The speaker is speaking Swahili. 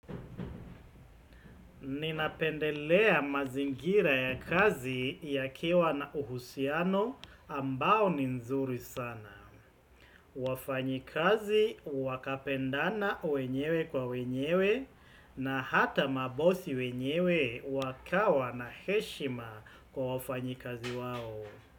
Ninapendelea mazingira ya kazi yakiwa na uhusiano ambao ni nzuri sana. Wafanyi kazi wakapendana wenyewe kwa wenyewe na hata mabosi wenyewe wakawa na heshima kwa wafanyi kazi wao.